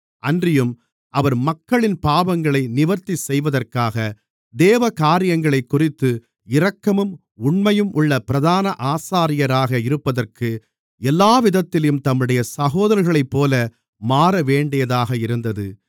அன்றியும் அவர் மக்களின் பாவங்களை நிவர்த்தி செய்வதற்காக தேவகாரியங்களைக்குறித்து இரக்கமும் உண்மையும் உள்ள பிரதான ஆசாரியராக இருப்பதற்கு எல்லாவிதத்திலும் தம்முடைய சகோதரர்களைப்போல மாறவேண்டியதாக இருந்தது